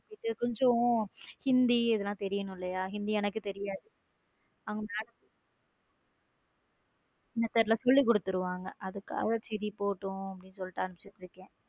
இது கொஞ்சம் ஹிந்தி இதெல்லாம் தெரியனும் இல்லையா ஹிந்தி எனக்கு தெரியாது அவங்க Ma'am சொல்லிக் கொடுதுர்வாங்க அதனால சரி போகட்டும் அனுப்பிவிட்டு இருக்கேன்.